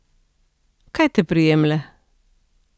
Kaj te prijemlje?